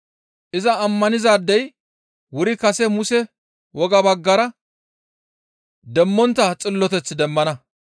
Iza ammanizaadey wuri kase Muse wogaa baggara demmontta xilloteth demmana.